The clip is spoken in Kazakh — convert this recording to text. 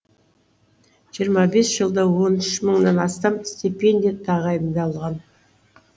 жиырма бес жылда он үш мыңнан астам стипендия тағайындалған